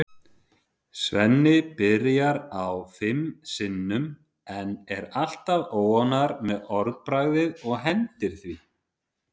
Svenni byrjar á því fimm sinnum en er alltaf óánægður með orðalagið og hendir því.